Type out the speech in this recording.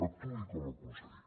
actuï com a conseller